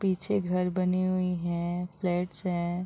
पीछे घर बनी हुई है फ्लैट्स है।